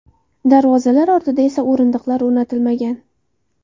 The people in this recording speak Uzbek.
Darvozalar ortida esa o‘rindiqlar o‘rnatilmagan.